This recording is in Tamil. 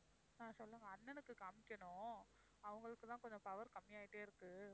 ஆஹ் சொல்லுங்க அண்ணனுக்குக் காமிக்கணும் அவங்களுக்கு தான் கொஞ்சம் power கம்மி ஆயிட்டே இருக்கு